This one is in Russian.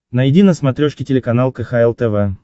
найди на смотрешке телеканал кхл тв